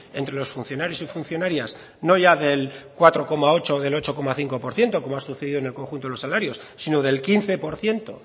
entre los funcionarios y funcionarias no ya del cuatro coma ocho o del ocho coma cinco por ciento como ha sucedido en el conjunto de los salarios sino del quince por ciento